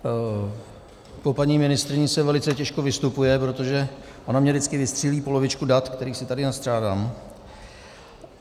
Po paní ministryni se velice těžko vystupuje, protože ona mně vždycky vystřílí polovičku dat, která si tady nastřádám.